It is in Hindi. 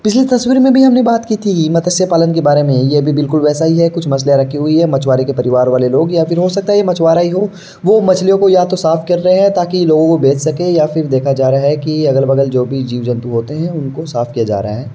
पिछली तस्वीर में भी हमने बात की थी मतस्य पालन के बारे में। ये भी बिलकुल वैसा ही है। कुछ मछलियाँ रखी हुई है मछुआरे के परिवार वाले लोग या फिर हो सकता है ये मछुआरे ही हो वो मछलियों को या तो साफ़ कर रहे है ताकि लोगो को बेच सके या फिर देखा जा रहा है की अगल-बगल जो भी जीव-जंतु होते हैं उनको साफ किया जा रहा है।